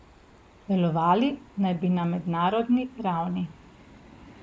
Delovali naj bi na mednarodni ravni.